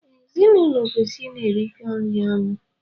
Ee, ezinụlọ kwesịrị I na-erikọ nri ọnụ.